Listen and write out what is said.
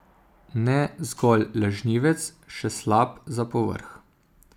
Ne zgolj lažnivec, še slab za povrh.